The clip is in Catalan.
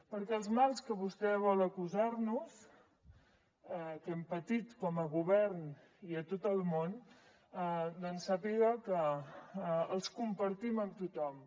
perquè els mals de què vostè vol acusar nos que hem patit com a govern i a tot el món doncs sàpiga que els compartim amb tothom